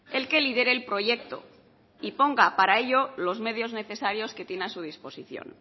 el que lidere el proyecto y ponga para ello los medios necesarios que tiene a su disposición